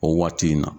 O waati in na